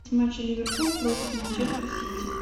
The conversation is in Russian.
матч ливерпуль против манчестер сити